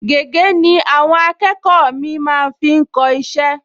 Gègé ni àwọn akẹ́kọ̀ọ mì-ín máa ń fi kọ iṣẹ́